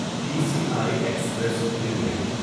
T C I Express limited